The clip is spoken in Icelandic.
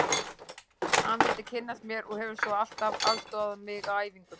Hann vildi kynnast mér og hefur svo alltaf aðstoðað mig á æfingum.